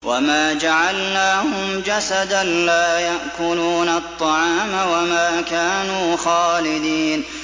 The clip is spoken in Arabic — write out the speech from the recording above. وَمَا جَعَلْنَاهُمْ جَسَدًا لَّا يَأْكُلُونَ الطَّعَامَ وَمَا كَانُوا خَالِدِينَ